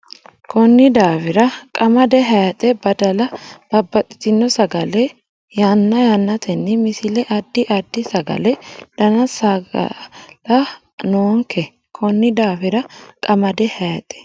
Konni daafira qamade hayxe badala babbaxxitino sagale yanna yannatenni Misile Addi addi sagale dana saga la noonke Konni daafira qamade hayxe.